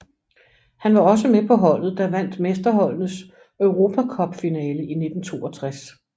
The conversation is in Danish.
Han var også med på holdet der vandt Mesterholdenes Europa Cup finale 1962